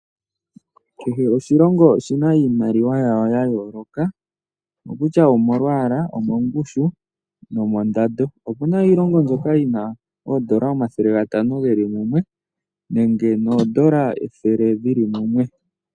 Kehe oshilongo oshi na iimaliwa ya yo, ya yooloka okutya omolwaala, omongushu nomondando. Oku na iilongo mbyoka yina oondola omathele gatano ge li mumwe nenge noondola ethele lili mumwe.